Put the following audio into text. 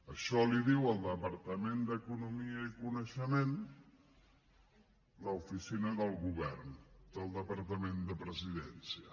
això li ho diu al departament d’economia i coneixement l’oficina del govern del departament de presidència